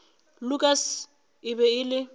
lukas e be e le